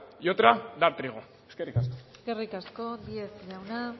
y otra dar trigo eskerrik asko eskerrik asko díez jauna